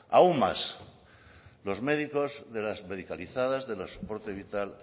aun más los médicos de las medicalizadas del soporte vital